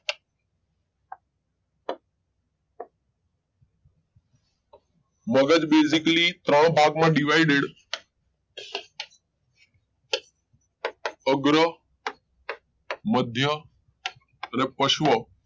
મગજ basically ત્રણ ભાગમાં divided અગ્ર મધ્ય અને પશ્વ